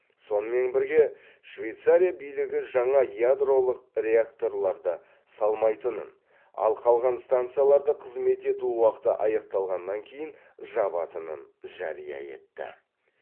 сонымен бірге швейцария билігі жаңа ядролық реакторларды салмайтынын ал қалған станцияларды қызмет ету уақыты аяқталғаннан кейін жабатынын жария етті